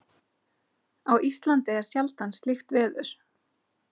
Á Íslandi er sjaldan slíkt veður.